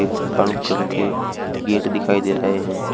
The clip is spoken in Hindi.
ब्राऊन कलर के गेट दिखाई दे रहे हैं।